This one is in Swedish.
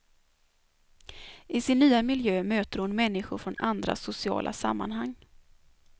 I sin nya miljö möter hon människor från andra sociala sammanhang.